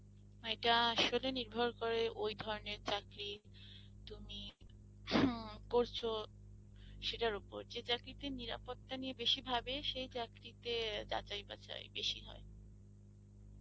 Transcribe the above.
অ্যাঁ আসলে নির্ভর করে ওই ধরনের চাকরি, তুমি হম পরছো সেটার ওপর যে চাকরিতে নিরাপত্তা নিয়ে বেশি ভাবে সেই চাকরিতে যাচাই-বাছাই বেশি হয়